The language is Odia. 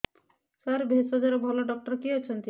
ସାର ଭେଷଜର ଭଲ ଡକ୍ଟର କିଏ ଅଛନ୍ତି